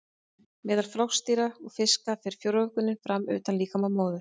Meðal froskdýra og fiska fer frjóvgunin fram utan líkama móður.